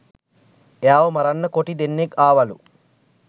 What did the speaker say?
එයාව මරන්න කොටි දෙන්නෙක් ආවලු